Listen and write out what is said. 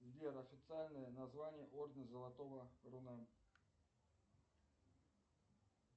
сбер официальное название ордена золотого руна